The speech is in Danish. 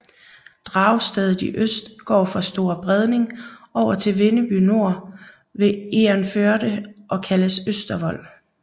Dragstedet i øst går fra fra Store Bredning over til Vindeby Nor ved Egernførde og kaldes Østervold